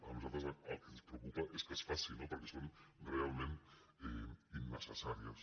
a nosaltres el que ens preocupa és que es faci no perquè són realment innecessàries